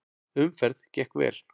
Umferð gekk vel.